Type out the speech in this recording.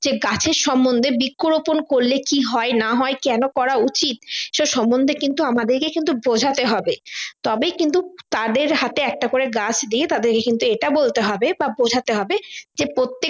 যে গাছের সমন্ধে বৃক্ষ রোপন করলে কি হয় না হয় কেন করা উচিৎ তা সমন্ধে কিন্তু আমাদেরকে কিন্তু বোঝাতে হবে তবে কিন্তু তাদের তাদের হাতে একটা করে গাছ দিয়ে তাদেরকে কিন্তু এটা বলতে হবে বা বোঝাতে হবে যে